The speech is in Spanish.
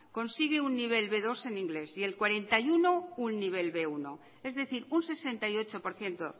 consiguen un nivel be dos en inglés y el cuarenta y uno por ciento un nivel be uno es decir un sesenta y ocho por ciento